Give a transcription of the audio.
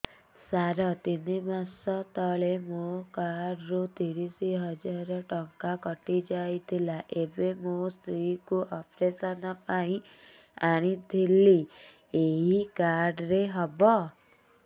ସାର ତିନି ମାସ ତଳେ ମୋ କାର୍ଡ ରୁ ତିରିଶ ହଜାର ଟଙ୍କା କଟିଯାଇଥିଲା ଏବେ ମୋ ସ୍ତ୍ରୀ କୁ ଅପେରସନ ପାଇଁ ଆଣିଥିଲି ଏଇ କାର୍ଡ ରେ ହବ